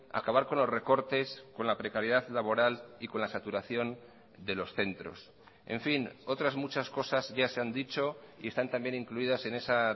acabar con los recortes con la precariedad laboral y con la saturación de los centros en fin otras muchas cosas ya se han dicho y están también incluidas en esa